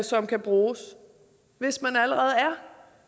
som kan bruges hvis man allerede